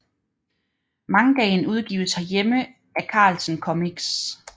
Mangaen udgives herhjemme af Carlsen Comics